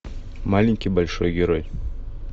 маленький большой герой